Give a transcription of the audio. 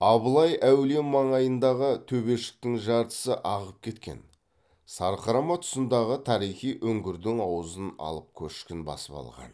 абылай әулие маңайындағы төбешіктің жартысы ағып кеткен сарқырама тұсындағы тарихи үңгірдің аузын алып көшкін басып қалған